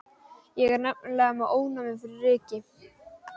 Ég er nefnilega með ofnæmi fyrir ryki.